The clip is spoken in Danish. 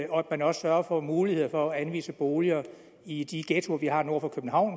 og at man også sørger for mulighed for at anvise boliger i de ghettoer vi har nord for københavn